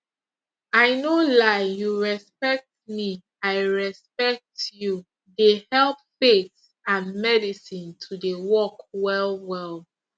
i no lie you respect me i respect you dey help faith and medicine to dey work well well